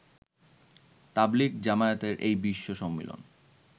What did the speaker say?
তাবলিগ জামায়াতের এই বিশ্ব সম্মিলন